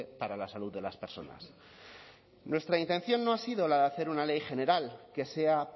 para la salud de las personas nuestra intención no ha sido la de hacer una ley general que sea